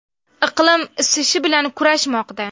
Iqlim isishi bilan kurashmoqda.